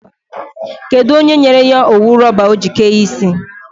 Kedụ onye nyere ya owu rọba ọ ji kee isi?